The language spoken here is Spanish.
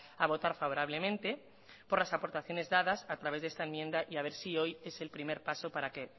a votar favorablemente por las aportaciones dadas a través de esta enmienda a ver si hoy es el primer paso para que